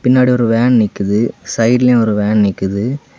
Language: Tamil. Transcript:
பின்னாடி ஒரு வேன் நிக்குது சைடுலயு ஒரு வேன் நிக்குது.